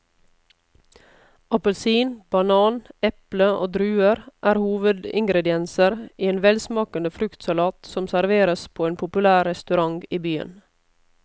Appelsin, banan, eple og druer er hovedingredienser i en velsmakende fruktsalat som serveres på en populær restaurant i byen.